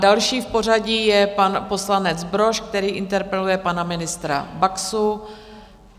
Další v pořadí je pan poslanec Brož, který interpeluje pana ministra Baxu.